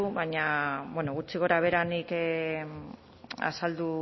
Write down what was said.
baina bueno gutxi gorabehera nik azaldu